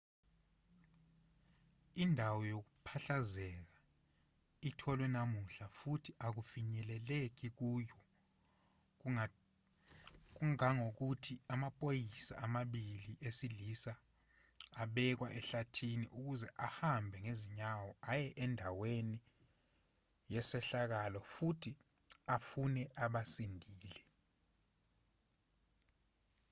indawo yokuphahlazeka itholwe namuhla futhi akufinyeleleki kuyo kangangokuthi amaphoyisa amabili esilisa abekwa ehlathini ukuze ahambe ngezinyawo aye andaweni yesehlakalo futhi afune abasindile